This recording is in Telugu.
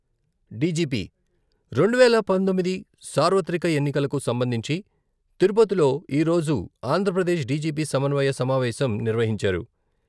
డిజిపి రెండువేల పంతొమ్మిది సార్వత్రిక ఎన్నికలకు సంబంధించి తిరుపతిలో ఈరోజు ఆంధ్రప్రదేశ్ డిజిపి సమన్వయ సమావేశం నిర్వహించారు.